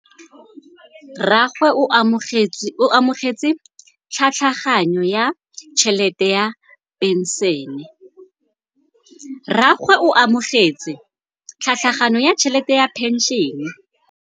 Rragwe o amogetse tlhatlhaganyô ya tšhelête ya phenšene.